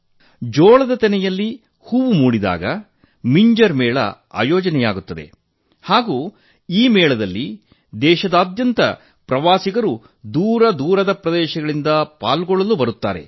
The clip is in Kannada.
ಜೋಳದ ತೆನೆಯಲ್ಲಿ ಹೂವು ಮೂಡಿದಾಗ ಮಿಂಜರ್ ಮೇಳ ಆಯೋಜಿಸಲಾಗುತ್ತದೆ ಹಾಗೂ ಈ ಮೇಳದಲ್ಲಿ ದೇಶಾದ್ಯಂತ ಪ್ರವಾಸಿಗರು ದೂರದ ದೂರದ ಪ್ರದೇಶಗಳಿಂದ ಪಾಲ್ಗೊಳ್ಳಲು ಬರುತ್ತಾರೆ